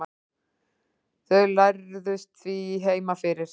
Þau lærðust því heima fyrir.